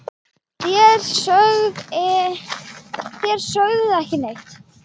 Þér sögðuð ekki neitt!